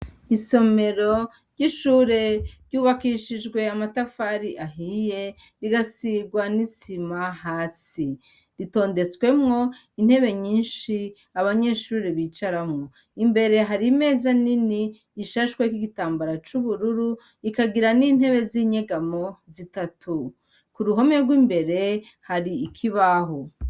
Isomero ry'ishure ryubakishijwe amatafari ahiye rigasirwa n'isima hasi ritondetswemwo intebe nyinshi abanyeshure bicaramwo imbere hari meza nini ishashweko'igitambara c'ubururu ikagira n'intebe z'inyegamo zitatu ku ruhome rw'imbere hari ikibahu.